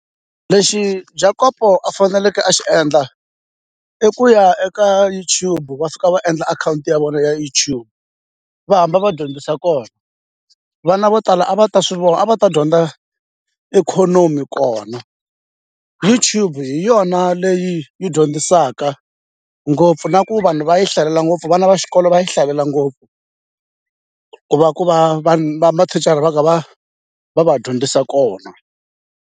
lexi Jakopo a faneleke a xi endla i ku ya eka YouTube va suka va endla akhawunti ya vona ya YouTube va hamba va dyondzisa kona vana vo tala a va ta swi a va ta dyondza ikhonomi kona YouTube hi yona leyi yi dyondzisaka ngopfu na ku vanhu va yi hlalela ngopfu vana va xikolo va yi hlalela ngopfu ku va ku va va mathicara va ka va va va dyondzisa kona.